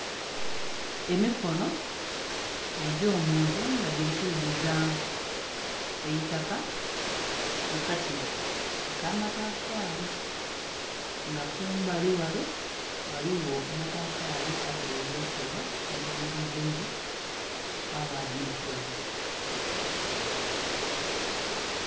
Emikono egyo muntu nga gili kwidhuza eitaka mukatiba akamatafali nga kumbali ghale ghaligho amatafali agaghele okubwa age melezebwa ghabagho nhe kidhomola ekya kilagala.